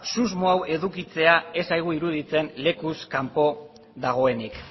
susmo hau edukitzea ez zaigu iruditzen lekuz kanpo dagoenik